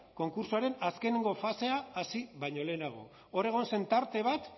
konkurtsoaren azkenengo fasea hasi baino lehenago hor egon zen tarte bat